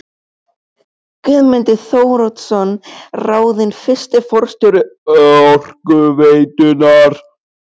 Guðmundur Þóroddsson ráðinn fyrsti forstjóri Orkuveitunnar.